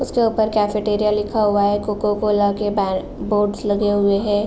उसके ऊपर कैफेटेरिया लिखा हुआ है। कोकोकोला के बै बोर्ड्स लगे हुए हैं।